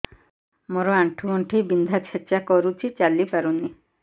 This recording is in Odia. ମୋର ଆଣ୍ଠୁ ଗଣ୍ଠି ବିନ୍ଧା ଛେଚା କରୁଛି ଚାଲି ପାରୁନି